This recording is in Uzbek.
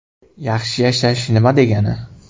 Yaxshi yashash nima degani?